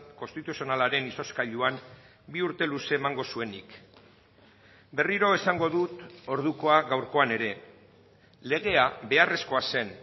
konstituzionalaren izozkailuan bi urte luze emango zuenik berriro esango dut ordukoa gaurkoan ere legea beharrezkoa zen